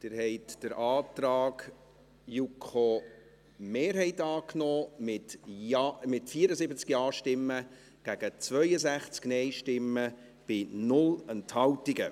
Sie haben den Antrag der JuKo-Mehrheit angenommen, mit 74 Ja- gegen 62 Nein-Stimmen bei 0 Enthaltungen.